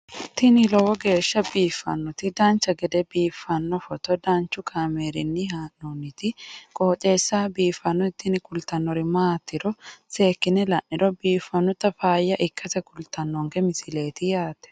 tini lowo geeshsha biiffannoti dancha gede biiffanno footo danchu kaameerinni haa'noonniti qooxeessa biiffannoti tini kultannori maatiro seekkine la'niro biiffannota faayya ikkase kultannoke misileeti yaate